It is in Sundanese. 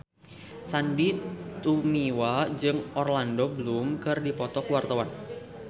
Sandy Tumiwa jeung Orlando Bloom keur dipoto ku wartawan